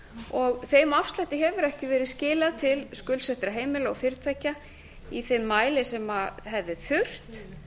og þeim afslætti hefur ekki verið skilað til skuldsettra heimila og fyrirtækja í þeim mæli sem hefði